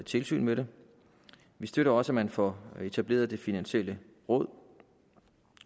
tilsyn med det vi støtter også at man får etableret det finansielle råd